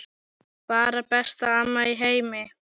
Bara besta amma í heimi.